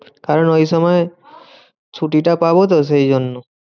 কারণ ওই সময় ছুটিটা পাবোতো সেইজন্য।